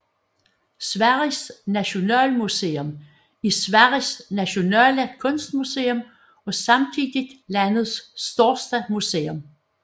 Sveriges Nationalmuseum er Sveriges nationale kunstmuseum og samtidig landets største museum